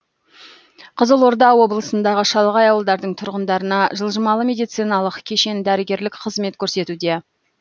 қызылорда облысындағы шалғай ауылдардың тұрғындарына жылжымалы медициналық кешен дәрігерлік қызмет көрсетуде